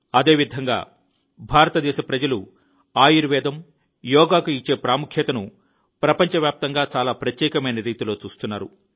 అదేవిధంగా భారతదేశ ప్రజలు ఆయుర్వేదం యోగాకు ఇచ్చే ప్రాముఖ్యతను ప్రపంచవ్యాప్తంగా చాలా ప్రత్యేకమైన రీతిలో చూస్తున్నారు